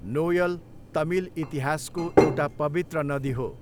Noel' Tamil इतिहासको एउटा पवित्र नदी हो।